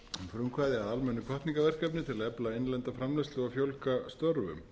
frumkvæði að almennu hvatningarverkefni til að efla innlenda framleiðslu og fjölga störfum